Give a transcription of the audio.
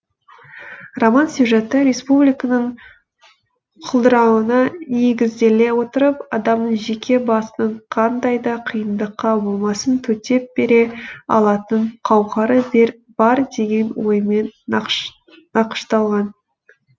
роман сюжеті республиканың құлдырауына негізделе отырып адамның жеке басының қандай да қиындыққа болмасын төтеп бере алатын қауқары бар деген оймен нақышталған